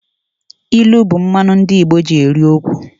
Ilu bụ mmanụ ndị Igbo ji eri okwu